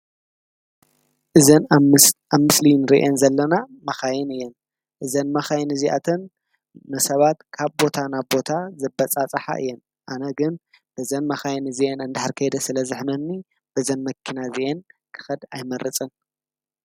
እዘን ኣብ ምስሊ ንሪአን ዘለና መኻይን እየን። እዘን መካይን እዚ ኣተን ንሰባት ካብ ቦታ ናብ ቦታ ዘበፃፅሓ እየን። ኣነ ግን በዘን መኻይን እንድሕር ከይደ ስለ ዘሕመኒ በዘን መኪና እዚአን ክኸይድ ኣይመርፅን።